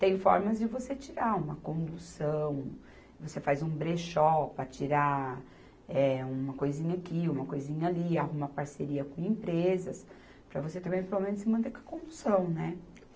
Tem formas de você tirar uma condução, você faz um brechó para tirar, eh, uma coisinha aqui, uma coisinha ali, arruma parceria com empresas, para você também, pelo menos, se manter com a condução, né?